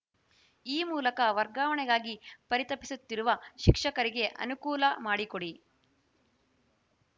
ಈ ಮೂಲಕ ವರ್ಗಾವಣೆಗಾಗಿ ಪರಿತಪಿಸುತ್ತಿರುವ ಶಿಕ್ಷಕರಿಗೆ ಅನುಕೂಲ ಮಾಡಿಕೊಡಿ